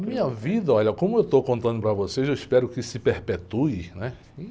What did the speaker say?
A minha vida, olha, como eu estou contando para vocês, eu espero que se perpetue, né?